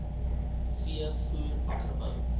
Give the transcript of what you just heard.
v voer akkerbou